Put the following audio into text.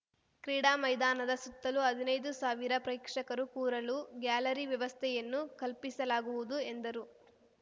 ಕ್ರೀಡಾ ಮೈದಾನದ ಸುತ್ತಲೂ ಹದಿನೈದು ಸಾವಿರ ಪ್ರೇಕ್ಷಕರು ಕೂರಲು ಗ್ಯಾಲರಿ ವ್ಯವಸ್ಥೆಯನ್ನು ಕಲ್ಪಿಸಲಾಗುವುದು ಎಂದರು